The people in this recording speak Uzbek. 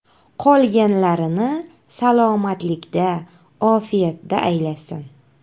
Qolganlarini salomatlikda, ofiyatda aylasin!